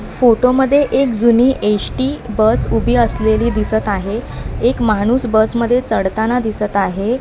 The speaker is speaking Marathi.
फोटो मध्ये एक जुनी एसटी बस उभी असलेली दिसत आहे एक माणूस बस मध्ये चढताना दिसत आहे.